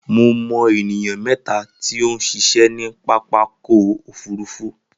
Mo mọ ènìyàn mẹ́ta tí ó ń ṣiṣẹ́ ní pápákọ̀ òfúrufú